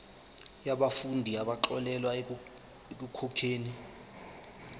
yabafundi abaxolelwa ekukhokheni